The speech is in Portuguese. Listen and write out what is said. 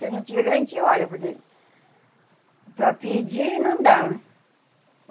Se não tiver, a gente olha, porque para pedir não dá.